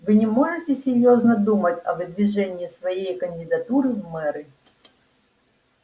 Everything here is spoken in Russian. вы не можете серьёзно думать о выдвижении своей кандидатуры в мэры